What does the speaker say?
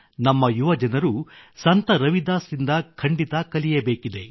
ನಮ್ಮ ಯುವಕರು ಸಂತ ರವಿದಾಸ್ ರಿಂದ ಖಂಡಿತ ಕಲಿಯಬೇಕಿದೆ